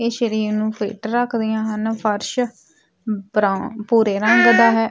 ਇਹ ਸਰੀਰ ਨੂੰ ਫਿਟ ਰੱਖਦੀਆਂ ਹਨ ਫਰਸ਼ ਬਰਾਊਨ ਭੂਰੇ ਰੰਗ ਦਾ ਹੈ।